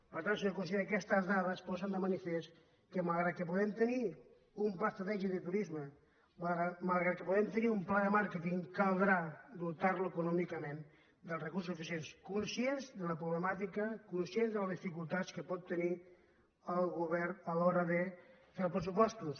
per tant senyor conseller aquestes dades posen de manifest que malgrat que puguem te·nir un pla estratègic de turisme malgrat que puguem tenir un pla de màrqueting caldrà dotar·lo econòmi·cament dels recursos suficients conscients de la pro·blemàtica conscients de les dificultats que pot tenir el govern a l’hora de fer els pressupostos